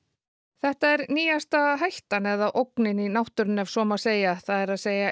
þetta er nýjasta hættan eða ógnin í náttúrunni ef svo má segja það er